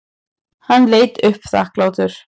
Hann leit upp þakklátur.